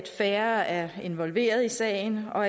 færre er involveret i sagen og